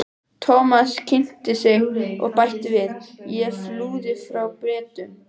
Thomas kynnti sig og bætti við: Ég flúði frá Bretum